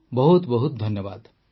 ବହୁତ ବହୁତ ଧନ୍ୟବାଦ